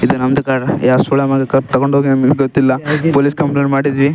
ಇದು ನಂದ್ ಕಾರ್‌ ಯಾವ ಸೋಳೆಮಗ ಕದ್ದ್ತಕೊಂಡ್ ಹೋಗ್ಯಾನ್ ಅಂತ ಗೊತ್ತಿಲ್ಲ ಪೋಲಿಸ್ ಕಂಪ್ಲೇಂಟ್ ಮಾಡಿದ್ವಿ.